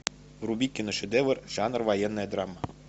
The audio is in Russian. вруби киношедевр жанр военная драма